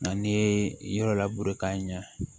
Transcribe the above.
Nka n'i ye yɔrɔ labure k'a ɲa